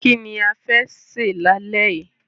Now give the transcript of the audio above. Kí ni a fẹ́ sè lálẹ́ yìí?